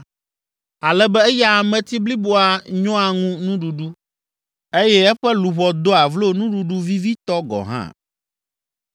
ale be eya ameti bliboa nyɔa ŋu nuɖuɖu eye eƒe luʋɔ doa vlo nuɖuɖu vivitɔ gɔ̃ hã.